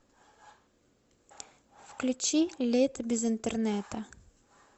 включи лето без интернета